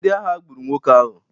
Ndị agha gburu nwoke ahụ